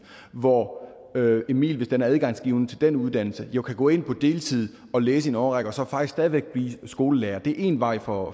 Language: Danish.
hvor emil hvis den er adgangsgivende til den uddannelse jo kan gå ind på deltid og læse i en årrække og så faktisk stadig væk blive skolelærer det er én vej for